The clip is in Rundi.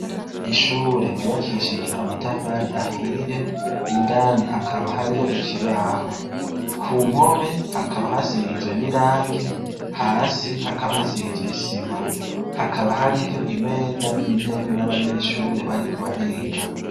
Ishure ryubakishije amatafari ahiye indani hakaba hariyo ikibaho ku mpome hakaba hasize n' irangi hasi hakaba hasize isima hakaba hariyo imeza n' intebe n' abanyeshure bariko bariga.